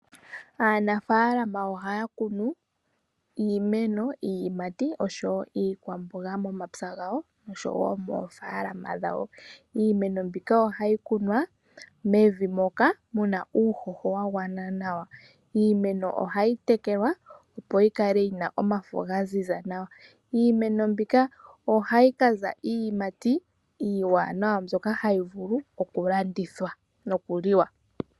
Aanafaalama ohaya kunu iimeno, iiyimati osho woo iikwamboga momapya gawo osho woo moofaalama dhawo. Iimeno mbika ohayi kunwa mevi muna uuhoho wagwana nawa, ohayi tekelwa opo yi kale yina omafo gaziza nawa. Iimeno mbika ohayi kaza iiyimati iiwanawa mbyoka hayi vulu oku landithwa nokuli wa.